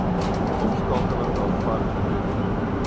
omskakeling daarvan gedoen